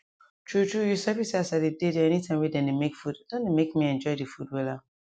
true trueyou sabi say as i dey dey there anytime wey dem dey make food don dey make me enjoy the food wella